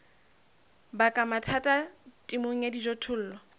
baka mathata temong ya dijothollo